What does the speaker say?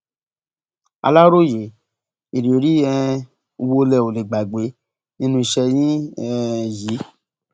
aláròye ìrírí um wo lẹ ò lè gbàgbé nínú iṣẹ yín um yìí